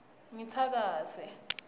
ngitsakase